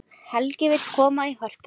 Helgi vill koma í Hörpuna